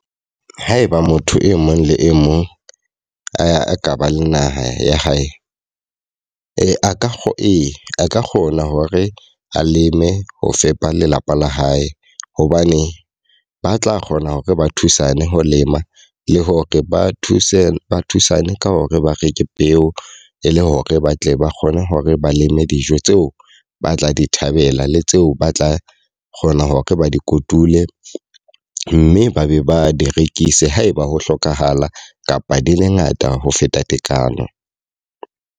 Haeba motho e mong le e mong a ka ba le naha ya hae. Ee, a ka e a ka kgona hore a leme ho fepa lelapa la hae. Hobane ba tla kgona hore ba thusane ho lema, le hore ba thuse ba thusane ka hore ba reke peo. E le hore ba tle ba kgone hore ba leme dijo tseo ba tla di thababela le tseo ba tla kgona hore ba di kotule. Mme ba be ba di rekise haeba ho hlokahala kapa di le ngata ho feta tekano.